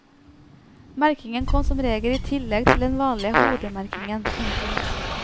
Merkingen kom som regel i tillegg til den vanlige hodemerkingen. punktum